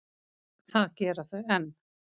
Það gera þau enn.